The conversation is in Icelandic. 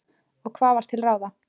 Og hvað var til ráða?